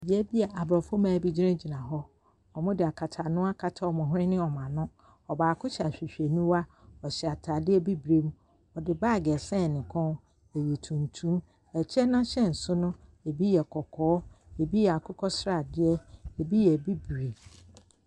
Beae bi a abrɔfo mmaa gyina gyina hɔ. Ɔmo de akata ano akata ɔmo hwene ne ɔmo ano. Ɔbaako so hyɛ ahwehweniwa. Ɔhyɛ ataadeɛ bibire. Ɔde baag asɛn ne kɔn. Ɔyɛ tuntum. Ɛkyɛ n'ahyɛnso no, ebi yɛ kɔkɔɔ. Ebi yɛ akokɔsradeɛ. Ebi yɛ bibire.